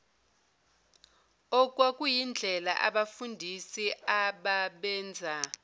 okwakuyindlela abafundisi ababenza